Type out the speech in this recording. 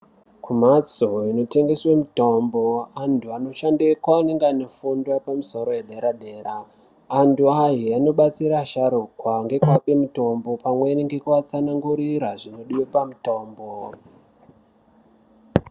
Kumhatso inotengeswa mitombo antu anoshandeko anenge ane fundo yepamusoro yedera dera . Antu aya anobatsira anobatsira asharukwa nekuape mitombo pamweni nekuatsanangurira zvinodiwa pamutombo.